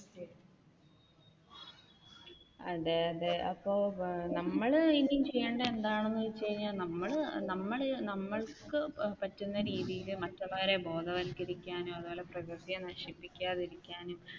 അതെ അതെ അപ്പൊ നമ്മൾ ഇനി ചെയ്യേണ്ട എന്താണെന്ന് വെച്ച് കഴിഞ്ഞാൽ നമ്മനമ്മൾക്ക് പറ്റുന്ന രീതിയിൽ മറ്റുള്ളവരെ ബോധവത്കരിക്കാനോ അതുപോലെ പ്രകൃതിയെ നശിപ്പിക്കാതെ ഇരിക്കാനോ